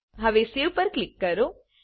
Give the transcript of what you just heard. હવે સેવ પર ક્લિક કરો